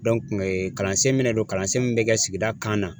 Dɔnke kalansen min me na don kalansen min be kɛ sigida kan na